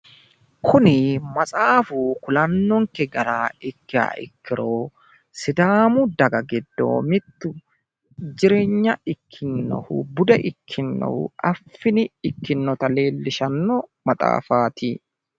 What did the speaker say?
kuni maxaafu kulannonke gara ikkiha ikkiro sidaamu daga giddo mittu jireenya ikkinohu bude ikkinohu affini ikkinnota leellishshanno maxaafaati.